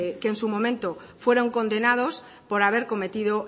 que en su momento fueron condenados por haber cometido